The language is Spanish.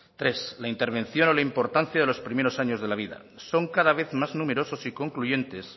tres la intervención o la importancia de los primeros años de la vida son cada vez más numerosos y concluyentes